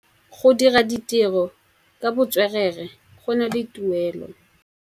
Go dira ditirô ka botswerere go na le tuelô.